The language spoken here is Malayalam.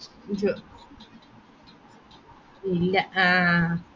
ഇല്ല ആഹ്